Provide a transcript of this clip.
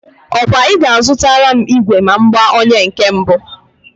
Ọ kwa I ga-azutara m igwe ma m gbaa onye nke mbụ?